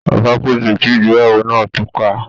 Ọba pàṣẹ kí ìgbéyàwó náà túká